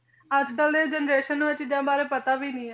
ਅਜਕਲ ਦੇ generation ਨੂੰ ਇਹ ਚੀਜਾਂ ਬਾਰੇ ਪਤਾ ਵੀ ਨਹੀਂ ਹੈ